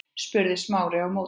spurði Smári á móti.